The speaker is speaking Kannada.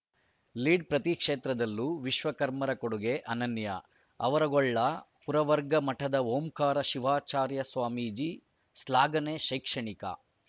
ಲೀಡ್‌ ಪ್ರತಿ ಕ್ಷೇತ್ರದಲ್ಲೂ ವಿಶ್ವಕರ್ಮರ ಕೊಡುಗೆ ಅನನ್ಯ ಆವರಗೊಳ್ಳ ಪುರವರ್ಗ ಮಠದ ಓಂಕಾರ ಶಿವಾಚಾರ್ಯ ಸ್ವಾಮೀಜಿ ಶ್ಲಾಘನೆ ಶೈಕ್ಷಣಿಕ